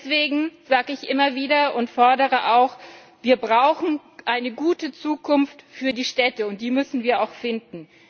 Deswegen sage ich immer wieder und fordere auch Wir brauchen eine gute Zukunft für die Städte, und die müssen wir auch finden.